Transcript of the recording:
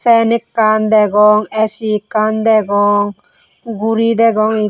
pen ekkan degong A_C ekkan degong guri degong guro degong ik.